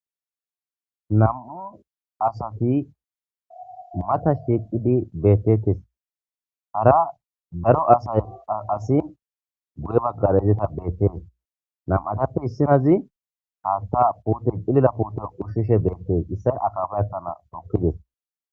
Nam7u asati mata sheeqqidi beettetes hara daro asay asi guye bagar izeta beettees nam7atappe issinazi haatta pute qilila pute ushshishe beettes issay akaba akkana tokkides